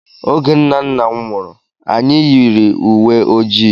Oge nna nna m nwụrụ, anyị yiri uwe ojii.